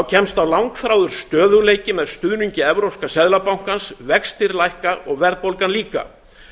kemst á langþráður stöðugleiki með stuðningi evrópska seðlabankans vextir lækka og verðbólgan líka